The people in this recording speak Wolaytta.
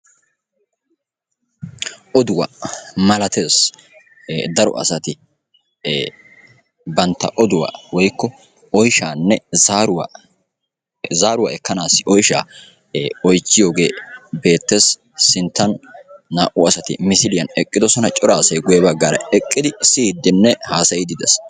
oduwa malatees. Daro asati bantta oduwa woykko oyshaanne zaaruwa ekkanaasi oyshaa oychchiyogee beettes. sinttan naa"u asati misiliyan eqqidosona. cora asay guyye baggaara eqqidi siyiiddinne haasayiiddi de"es.